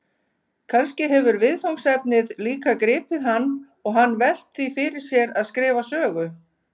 Kannski hefur viðfangsefnið líka gripið hann og hann velt því fyrir sér að skrifa sögu?